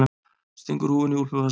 Stingur húfunni í úlpuvasann.